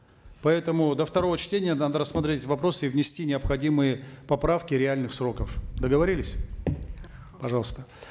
поэтому до второго чтения надо рассмотреть этот вопрос и внести необходимые поправки реальных сроков договорились пожалуйста